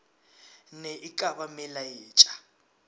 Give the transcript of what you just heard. na e ka ba melaetša